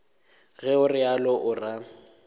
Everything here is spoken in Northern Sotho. ge o realo o ra